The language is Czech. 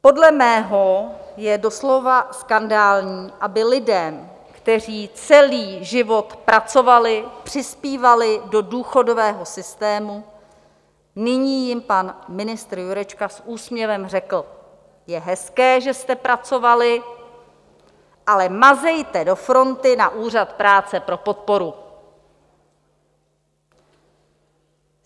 Podle mého je doslova skandální, aby lidem, kteří celý život pracovali, přispívali do důchodového systému, nyní jim pan ministr Jurečka s úsměvem řekl: je hezké, že jste pracovali, ale mazejte do fronty na úřad práce pro podporu.